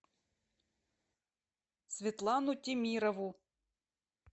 светлану темирову